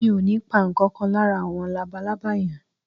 Mi ò ní pa ǹkan kan lára àwọn labalábá yẹn